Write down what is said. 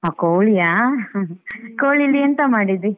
ಆಹ್ ಕೋಳಿಯಾ? ಕೋಳಿಯಲ್ಲಿ ಎಂತ ಮಾಡಿದ್ದಿ?